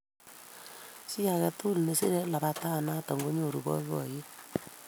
Chi age tugul nesire labatet noto konyoru boiboyet